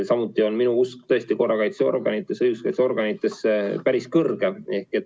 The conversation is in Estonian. Samuti on minu usk korrakaitseorganitesse, õiguskaitseorganitesse päris suur.